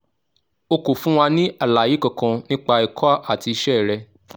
o kò fún wa ní àlàyé kankan nípa ẹ̀kọ́ àti iṣẹ́ rẹ